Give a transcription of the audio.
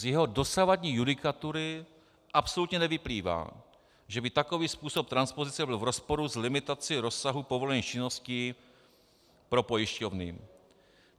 Z jeho dosavadní judikatury absolutně nevyplývá, že by takový způsob transpozice byl v rozporu s limitací rozsahu povolených činností pro pojišťovny.